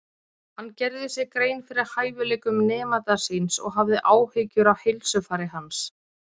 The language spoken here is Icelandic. Hann gerði sér grein fyrir hæfileikum nemanda síns og hafði áhyggjur af heilsufari hans.